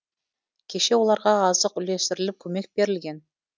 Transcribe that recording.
кеше оларға азық үлестіріліп көмек берілген